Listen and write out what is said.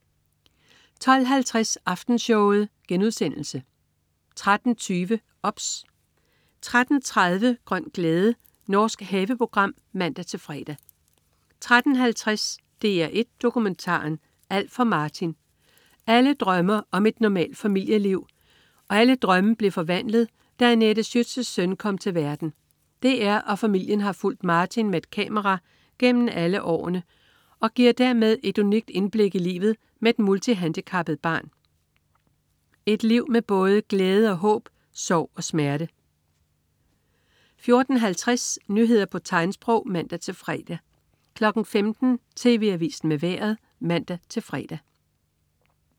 12.50 Aftenshowet* 13.20 OBS 13.30 Grøn glæde. Norsk haveprogram (man-fre) 13.50 DR1 Dokumentaren: Alt for Martin. Alle drømme om et normalt familieliv blev forvandlet, da Anette Schützes søn kom til verden. DR og familien har fulgt Martin med et kamera gennem alle årene og giver dermed et unikt indblik i livet med et multihandicappet barn. Et liv med både glæde og håb, sorg og smerte 14.50 Nyheder på tegnsprog (man-fre) 15.00 TV Avisen med Vejret (man-fre)